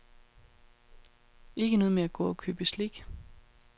Ikke noget med at gå og købe slik.